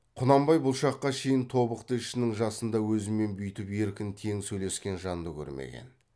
құнанбай бұл шаққа шейін тобықты ішінің жасында өзімен бүйтіп еркін тең сөйлескен жанды көрмеген